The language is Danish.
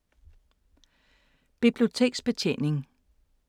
Biblioteksbetjening